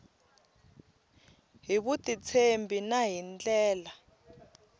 hi vutitshembi na hi ndlela